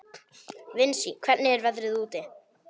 Vinsý, hvernig er veðrið úti?